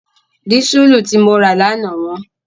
Dísùlù tí mo rà lánàá wọ́n.